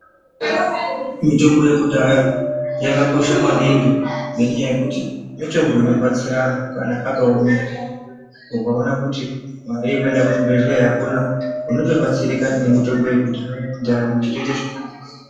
Mitombo yekudhaya yakakosha maningi ngendaa yekuti mitombo inobatsira antu kana akaomerwa ukaona kuti mari yekuenda kuchibhedhleya akuna unotobatsirika ngemutombo yekudhaya.